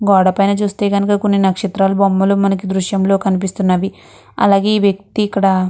గోడపైన చూస్తే కనుక కొన్ని నక్షత్రాలు బొమ్మలు మనకి దృశ్యంలో కనిపిస్తున్నవి. అలాగే ఈ వ్యక్తి ఇక్కడ --